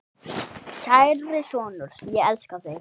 Kæri sonur, ég elska þig.